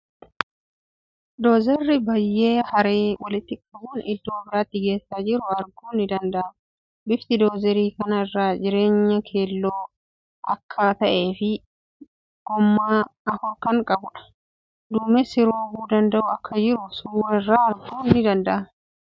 Doozarii biyyee haree walitti qabuun iddoo biraatti geessaa jiru arguun ni danda'ama. Bifti doozarii kana irra jireenyan keelloo akka ta'ee fii goommaa 4 kan qabuudha. Duumessi roobuu danda'u akka jiru suuraa irraa arguun ni danda'ama.